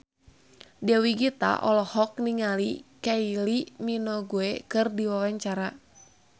Dewi Gita olohok ningali Kylie Minogue keur diwawancara